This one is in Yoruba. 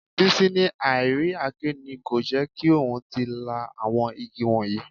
Bísí ní àì rí àáké ni kò jẹ́ kí òun tí ì lá àwọn igi wọ̀nyí